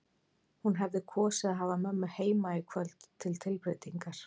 Hún hefði kosið að hafa mömmu heima í kvöld til tilbreytingar.